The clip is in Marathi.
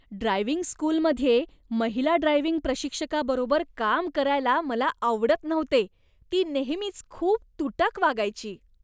ड्रायव्हिंग स्कूलमध्ये महिला ड्रायव्हिंग प्रशिक्षकाबरोबर काम करायला मला आवडत नव्हते. ती नेहमीच खूप तूटक वागायची.